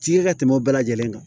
Ci kɛ ka tɛmɛ u bɛɛ lajɛlen kan